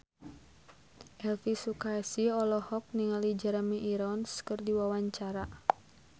Elvi Sukaesih olohok ningali Jeremy Irons keur diwawancara